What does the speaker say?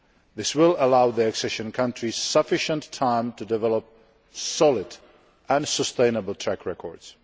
This will allow the accession countries sufficient time to develop solid and sustainable track records.